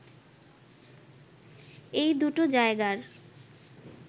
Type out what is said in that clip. এই দুটো জায়গার